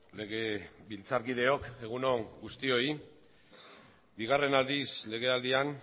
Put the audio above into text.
legebiltzarkideok egun on guztioi bigarren aldiz legealdian